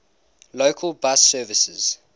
local bus services